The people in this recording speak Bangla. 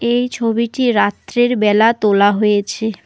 এই ছবিটি রাত্রের বেলা তোলা হয়েছে।